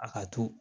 A ka to